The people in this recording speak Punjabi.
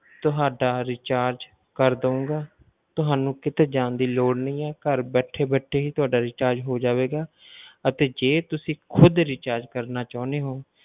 ਤੁਹਾਡਾ recharge ਕਰ ਦੇਵਾਂਗਾ ਤੁਹਾਨੂੰ ਕਿਤੇ ਜਾਣ ਦੀ ਲੋੜ ਨਹੀਂ ਹੈ, ਘਰ ਬੈਠੇ ਬੈਠੇ ਹੀ ਤੁਹਾਡਾ recharge ਹੋ ਜਾਵੇਗਾ ਅਤੇ ਜੇ ਤੁਸੀਂ ਖੁੱਦ recharge ਕਰਨਾ ਚਾਹੁੰਦੇ ਹੋ,